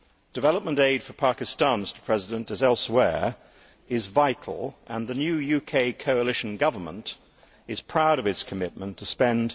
Development aid for Pakistan, as elsewhere, is vital, and the new UK coalition government is proud of its commitment to spend